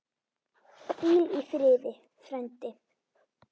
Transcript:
Hvíl í friði, frændi.